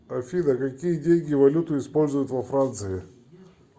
афина какие деньги валюту используют во франции